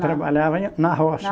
Trabalhava na roça.